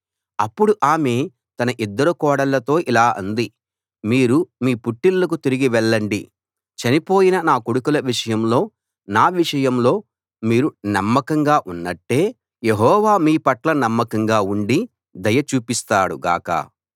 అప్పుడు ఆమె తన ఇద్దరు కోడళ్ళతో ఇలా అంది మీరు మీ పుట్టిళ్ళకు తిరిగి వెళ్ళండి చనిపోయిన నా కొడుకుల విషయంలో నా విషయంలో మీరు నమ్మకంగా ఉన్నట్టే యెహోవా మీ పట్ల నమ్మకంగా ఉండి దయ చూపిస్తాడు గాక